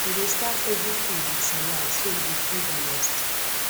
e dey start every food with salad so e go feel balanced